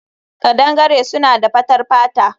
Kadangare suna da fatar fata